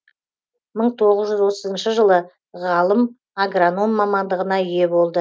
мың тоғыз жүз отызыншы жылы ғалым агроном мамандығына ие болды